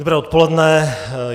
Dobré odpoledne.